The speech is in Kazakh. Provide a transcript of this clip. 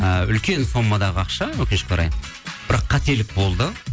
ы үлкен сомадағы ақша өкінішке орай бірақ қателік болды